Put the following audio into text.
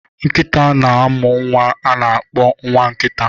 Nkita na-amụ nwa a na-akpọ nwa nkita